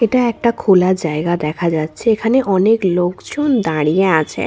এটা একটা খোলা জায়গা দেখা যাচ্ছে এখানে অনেক লোকজন দাঁড়িয়ে আছে।